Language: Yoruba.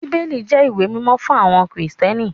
Bíbélì jẹ́ ìwé mímọ́ fún àwọn Krìstẹ́nì